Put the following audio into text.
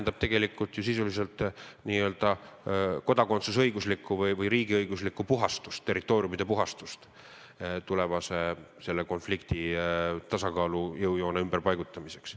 See tähendab sisuliselt n-ö kodakondsusõiguslikku või riigiõiguslikku puhastust, territooriumide puhastust tulevaseks selle konflikti tasakaalu jõujoone ümberpaigutamiseks.